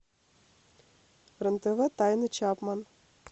рен тв тайны чапман